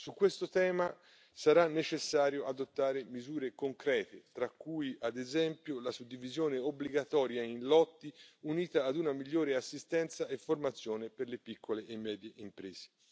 Su questo tema sarà necessario adottare misure concrete tra cui, ad esempio, la suddivisione obbligatoria in lotti, unita ad una migliore assistenza e formazione per le piccole e medie imprese.